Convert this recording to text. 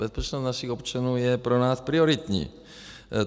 Bezpečnost našich občanů je pro nás prioritní.